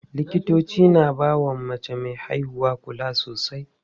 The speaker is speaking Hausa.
Likitoci na bawa mace me haihuwa kula sosai.